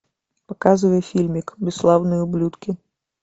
показывай фильмик бесславные ублюдки